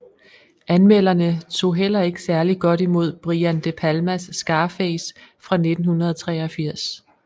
Anmelderne tog heller ikke særligt godt imod Brian De Palmas Scarface fra 1983